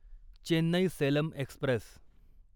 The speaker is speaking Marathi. चेन्नई सेलम एक्स्प्रेस